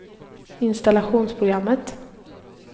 installationsprogrammet